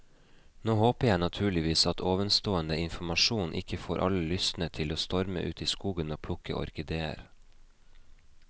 Nå håper jeg naturligvis at ovenstående informasjon ikke får alle lystne til å storme ut i skogen og plukke orkideer.